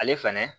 Ale fɛnɛ